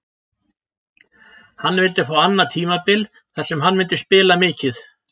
Hann vildi fá annað tímabil þar sem hann myndi spila mikið.